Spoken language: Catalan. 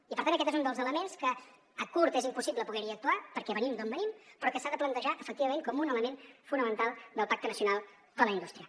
i per tant aquest és un dels elements que a curt és impossible poder hi actuar perquè venim d’on venim però que s’ha de plantejar efectivament com un element fonamental del pacte nacional per la indústria